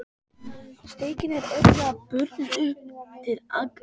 Steikin er örugglega brunnin upp til agna.